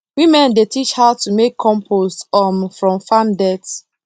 women dey teach how to make compost um from farm dirt